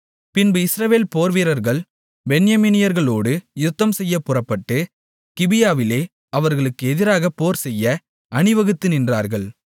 பின்பு இஸ்ரவேல் போர்வீரர்கள் பென்யமீனியர்களோடு யுத்தம்செய்யப் புறப்பட்டு கிபியாவிலே அவர்களுக்கு எதிராகப் போர்செய்ய அணிவகுத்து நின்றார்கள்